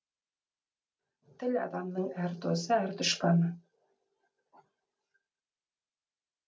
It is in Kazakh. тіл адамның әрі досы әрі дұшпаны